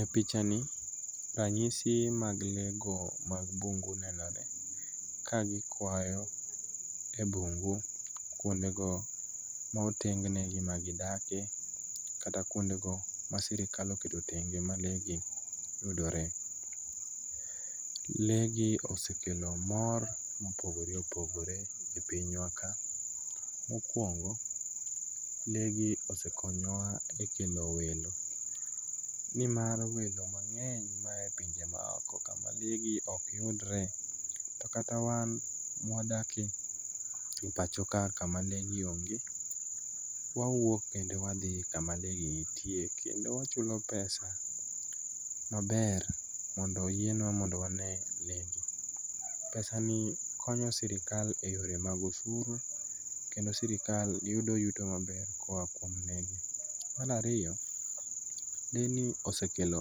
E picha ni ranyisi mag lee go mag bungu nenore kagikwayo e bungu kwondego ma oteng negi magidakie, kata kwondego ma sirikal oketo tenge ma lee gi yudore. Lee gi osekelo mor mopogore opogore e pinywa ka. Mokwongo, lee gi osekonyowa e kelo welo nimar welo mang'eny maya e pinje maoko kama gigi ok yudre to kata wan mwadakie pacho ka kama lee gi onge, wawuok kendo wadhi kama lee gi nitie, kendo wachulo pesa maber mondo oyienwa mondo wane lee gi. pesani konyo sirikal e yore mag osuru kendo sirikal yudo yuto maber koa kuom lee gi. Mar ariyo, lee gi osekelo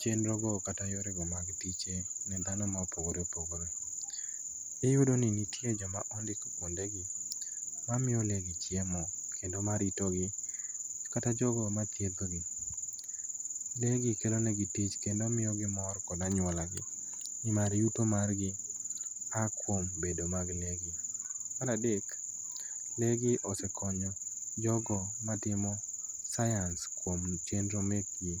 chenrogo kata yorego mag tich ne dhano mopogore opogore. Iyudo ni nitie jok ma ondik kwondegi mamiyo lee gi chiemo kendo maritogi kata jogo mathiedhogi. Lee gi kelo negi tich kendo miyogi mor kod anyuolagi nimar yuto margi a kuom bedo mag lee gi. Mar adek, lee gi osekonyo jogo matimo sayans kuom chenro mekgi.